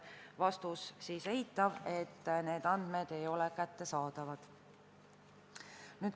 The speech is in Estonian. Vastus oli eitav, need andmed ei ole neile kättesaadavad.